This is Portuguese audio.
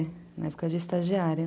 É, na época dos estagiários.